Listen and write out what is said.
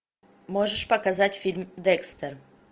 можешь показать фильм декстер